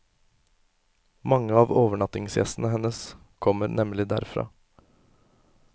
Mange av overnattingsgjestene hennes kommer nemlig derfra.